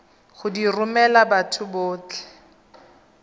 go di romela batho botlhe